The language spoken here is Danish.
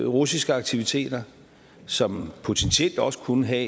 russiske aktiviteter som potentielt også kunne have